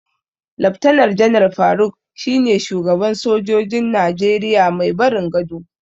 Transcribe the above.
Laftanar Janar Faruk shine shugaban sojojin Najeriya mai barin gado.